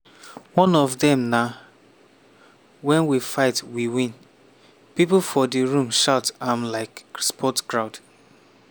one of dem na -- "wen we fight we win" - pipo for di room shout am like sports crowd.